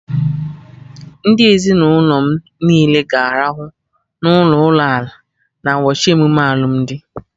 Ndị ezinụlọ m niile ga-arahụ n'ụlọ ụlọ ala na ụbọchị emume alụmdi